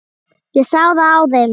Ég sá það á þeim.